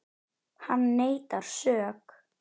Hann neitar sök.